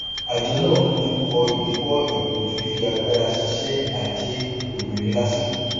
àjọ náà fojú kọ ìdíwọ ètò fifi agbára ṣíṣe àjé obìnrin lásìkò